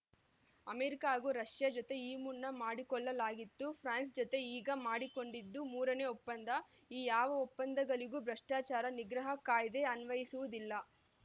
America ಹಾಗೂ Russia ಜತೆ ಈ ಮುನ್ನ ಮಾಡಿಕೊಳ್ಳಲಾಗಿತ್ತು ಫ್ರಾನ್ಸ್ ಜತೆ ಈಗ ಮಾಡಿಕೊಂಡಿದ್ದು ಮೂರನೇ ಒಪ್ಪಂದ ಈ ಯಾವ ಒಪ್ಪಂದಗಳಿಗೂ ಭ್ರಷ್ಟಾಚಾರ ನಿಗ್ರಹ ಕಾಯ್ದೆ ಅನ್ವಯಸುವುದಿಲ್ಲ